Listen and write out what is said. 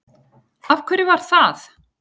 Af hverju var það?